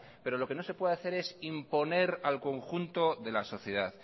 pero lo que no se puede hacer es imponer al conjunto de la sociedad